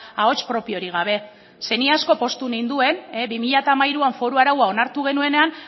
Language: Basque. ahots propiorik gabe ze ni asko poztu ninduen bi mila hamairuan foru araua onartu genuenean